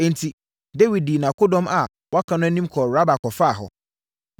Enti, Dawid dii nʼakodɔm a wɔaka no anim kɔɔ Raba kɔfaa hɔ.